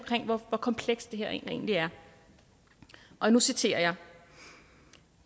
hvor komplekst det her egentlig er og nu citerer jeg